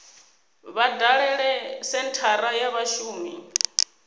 vha dalele senthara ya vhashumi